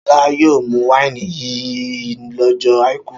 Ṣọlá yóò mú wáìnì yìí lọ́jọ́ àìkú!